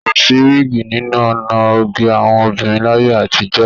Kò sí wiigi nínú ọ̀nà oge àwọn obìnrin láyé àtijọ́